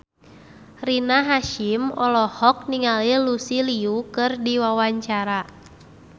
Rina Hasyim olohok ningali Lucy Liu keur diwawancara